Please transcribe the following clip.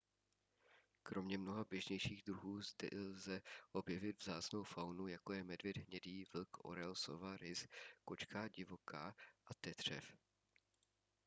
kromě mnoha běžnějších druhů zde lze objevit vzácnou faunu jako je medvěd hnědý vlk orel sova rys kočka divoká a tetřev